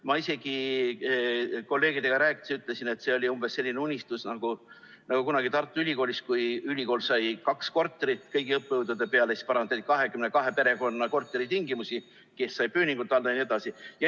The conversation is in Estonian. Ma isegi kolleegidega rääkides ütlesin, et see oli umbes selline unistus nagu kunagi Tartu Ülikoolis, kui ülikool sai kaks korterit kõigi õppejõudude peale ja siis parandati 22 perekonna korteritingimusi, et kes sai pööningult alla jne.